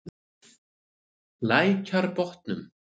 Lækjarbotnum